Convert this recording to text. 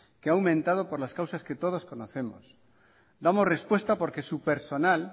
que aumentado por las causas que todos conocemos damos respuesta porque su personal